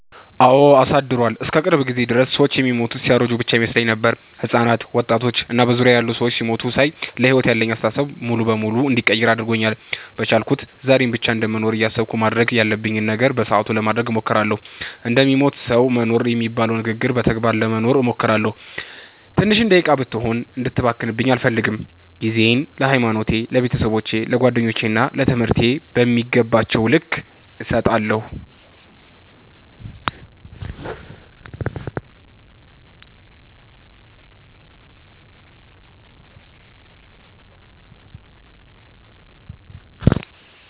አወ አሳድሯል። እስከ ቅርብ ጊዜ ድረስ ሰወች የሚሞቱት ሲያረጁ ብቻ ይመስለኝ ነበር። ህጻናት፣ ወጣቶች እና በዙሪያየ ያሉ ሰዎች ሲሞቱ ሳይ ለሕይወት ያለኝን አስተሳሰብ ሙሉ በሙሉ እንድቀይር አድርጎኛል። በቻልኩት ዛሬን ብቻ እንደምኖር እያሰብኩ ማድረግ ያለብኝን ነገር በሰአቱ ለማድረግ እሞክራለሁ። እንደሚሞት ሰዉ መኖር የሚባለውን ንግግር በተግባር ለመኖር እሞክራለሁ። ትንሽ ደቂቃም ብትሆን እንድትባክንብኝ አልፈልግም። ጊዜየን ለሀይማኖቴ፣ ለቤተሰቦቼ፣ ለጓደኞቼ እና ለትምህርቴ በሚገባቸዉ ልክ እሰጣለሁ።